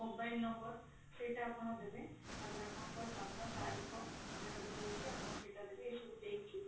mobile number ସେଇଟା ଆପଣ ଦେବେ ତାପରେ ଆପଣଙ୍କର ଗାଡିର ରହୁଛି ସେଇଟା ଆପଣ ସବୁ ଦେଇକି